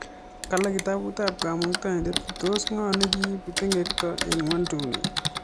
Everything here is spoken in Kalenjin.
Kale kitabut ab Komuktaindet tos ng'o nekiibu tengekto ing'unduni